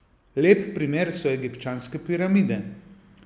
Lep primer so egipčanske piramide.